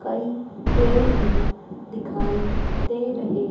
कई पेड़ भी दिखाई दे रहे--